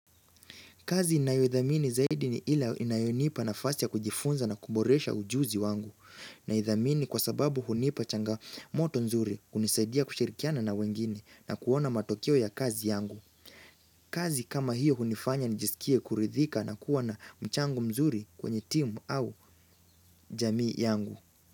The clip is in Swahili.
Kazi inayodhamini zaidi ni ila inayonipa nafasi ya kujifunza na kuboresha ujuzi wangu. Naidhamini kwa sababu hunipa changamoto nzuri kunisaidia kushirikiana na wengine na kuona matokeo ya kazi yangu. Kazi kama hiyo hunifanya nijisikie kuridhika na kuwa na mchangu mzuri kwenye timu au jamii yangu.